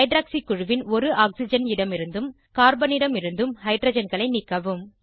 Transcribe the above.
hydroxy குழுவின் ஒரு oxygen இடமிருந்தும் கார்பன் இடமிருந்து ஹைட்ரஜன்களை நீக்கவும்